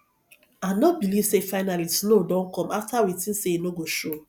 i no believe say finally snow don come after we think say e no go show